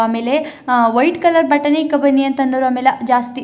ಆಮೇಲೆ ಆ white colour ಬಟ್ಟೆನೇ ಇಕ್ಕ ಬನ್ನಿ ಅಂತ ಅನ್ನುರು ಆಮೇಲ ಜಾಸ್ತಿ.